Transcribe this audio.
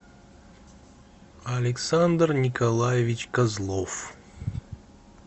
александр николаевич козлов